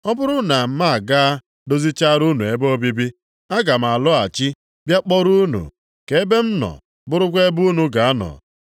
Ọ bụrụ na m agaa dozichara unu ebe obibi, aga m alọghachi bịa kpọrọ unu, ka ebe m nọ bụrụkwa ebe unu ga-anọ.